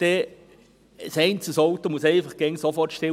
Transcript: Ein einzelnes Auto muss einfach immer sofort anhalten;